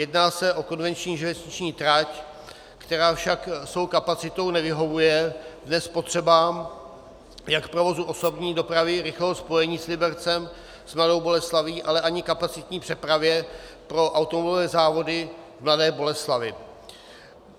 Jedná se o konvenční železniční trať, která však svou kapacitou nevyhovuje dnes potřebám jak provozu osobní dopravy, rychlého spojení s Libercem, s Mladou Boleslaví, ale ani kapacitní přepravě pro automobilové závody v Mladé Boleslavi.